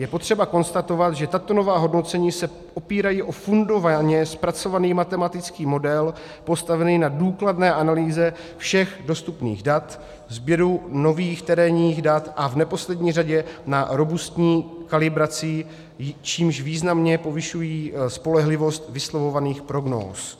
Je potřeba konstatovat, že tato nová hodnocení se opírají o fundovaně zpracovaný matematický model postavený na důkladné analýze všech dostupných dat, sběru nových terénních dat a v neposlední řadě na robustní kalibraci, čímž významně povyšují spolehlivost vyslovovaných prognóz.